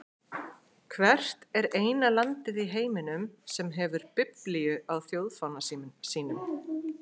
Hvert er eina landið í heiminum sem hefur biblíu á þjóðfána sínum?